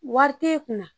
Wari tɛ e kunna